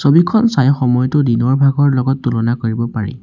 ছবিখন চাই সময়তো দিনৰ ভাগৰ লগত তুলনা কৰিব পাৰি।